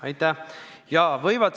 Aitäh!